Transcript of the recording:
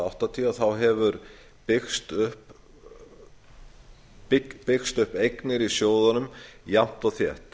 áttatíu hafa byggst upp eignir í sjóðunum jafnt og þétt